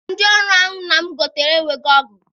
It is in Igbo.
Ndị ọrụ ahụ nna m gotere enweghị ọgụ.